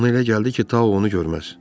Ona elə gəldi ki, Tao onu görməz.